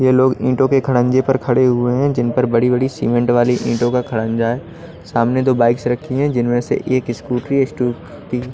ये लोग ईंटों के खरंजे पर खड़े हुए हैं जिन पर बड़ी बड़ी सीमेंट वाली ईंटों का खरंजा है सामने दो बाइक से रखी हैं जिनमें से एक स्कूटी --